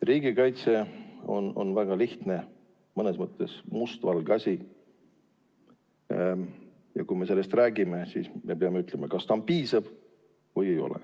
Riigikaitse on väga lihtne, mõnes mõttes mustvalge asi ja kui me sellest räägime, siis me peame ütlema, kas ta on piisav või ei ole.